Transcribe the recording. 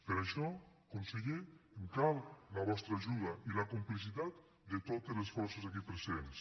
per això conseller em cal la vostra ajuda i la complicitat de totes les forces aquí presents